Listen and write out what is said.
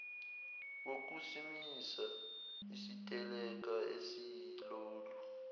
wokusimisa isiteleka esiyilolu